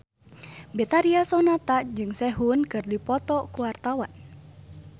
Betharia Sonata jeung Sehun keur dipoto ku wartawan